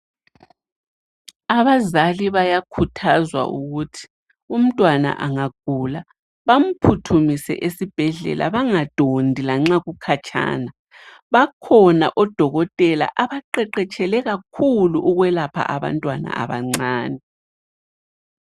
Abazali bayakhuthazwa ukuthi umntwana angagula, bamphuthumise esibhedlela, bangadondi lanxa kukhatshana . Bakhona odokotela abaqeqetshele kakhulu ukwelapha abantwana abancane.